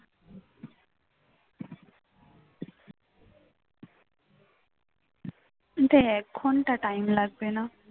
তো এক ঘণ্টাটাও time লাগবে না।